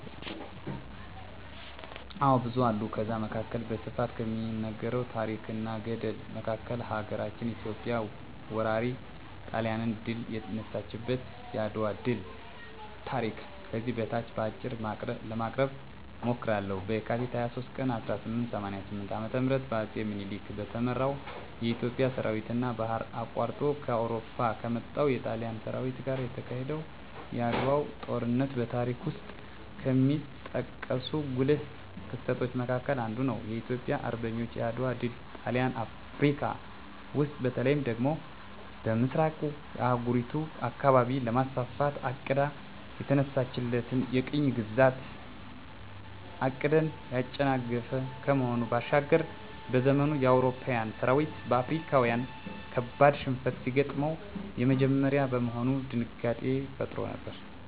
አዎ ብዙ አሉ ከዛ መካከል በስፋት ከሚነገረው ታረክ እና ገድል መካከል ሀገራችን ኢትዮጵያ ወራሪ ጣሊያንን ድል የነሳችበት የአድዋ ድል ታሪክ ከዚህ በታች በአጭሩ ለማቅረብ እሞክራለሁ፦ በካቲት 23 ቀን 1888 ዓ.ም በአጼ ምኒልክ በተመራው የኢትዮጵያ ሠራዊትና ባህር አቋርጦ ከአውሮፓ ከመጣው የጣሊያን ሠራዊት ጋር የተካሄደው የዓድዋው ጦርነት በታሪክ ውስጥ ከሚጠቀሱ ጉልህ ክስተቶች መካከል አንዱ ነው። የኢትዮጵያ አርበኞች የዓድዋ ድል ጣሊያን አፍረካ ውስጥ በተለይ ደግሞ በምሥራቁ የአህጉሪቱ አካባቢ ለማስፋፋት አቅዳ የተነሳችለትን የቅኝ ግዛት ዕቅድን ያጨናገፈ ከመሆኑ ባሻገር፤ በዘመኑ የአውሮፓዊያን ሠራዊት በአፍሪካዊያን ካበድ ሽንፈት ሲገጥመው የመጀመሪያ በመሆኑ ድንጋጤንም ፈጥሮ ነበር።